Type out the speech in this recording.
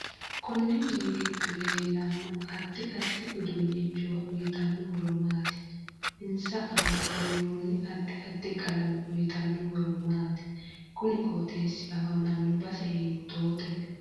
Konni mini giddo leelano addi addi uduunichuwa uyiitanno horo maati insa aana burooni addi addi qalame uyiitanno horo maati kuni qooxeesi afamanno base hiitoote